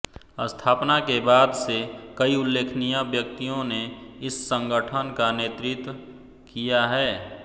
स्थापना के बाद से कई उल्लेखनीय व्यक्तियों ने इस संगठन का नेतृत्व किया है